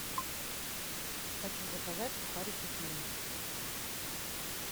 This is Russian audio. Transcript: хочу заказать сухарики флинт